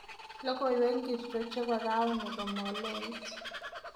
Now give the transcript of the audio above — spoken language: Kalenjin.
Logoywek ngircho chebo rauni komaloit